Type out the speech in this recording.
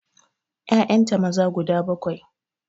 Ƴaƴanta maza guda bakwai